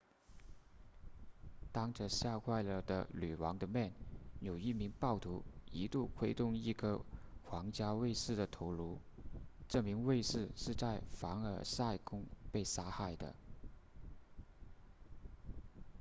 当着吓坏了的女王的面有一名暴徒一度挥动一颗皇家卫士的头颅这名卫士是在凡尔赛宫被杀害的